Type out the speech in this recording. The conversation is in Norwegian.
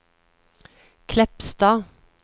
Kleppstad